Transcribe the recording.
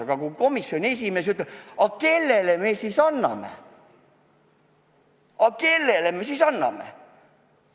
Aga komisjoni esimees ütleb, et aga kellele teisele me selle ülesande siis anname.